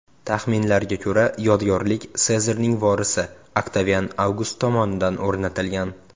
Taxminlarga ko‘ra, yodgorlik Sezarning vorisi Oktavian Avgust tomonidan o‘rnatilgan.